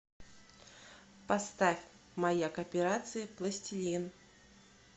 поставь маяк операции пластилин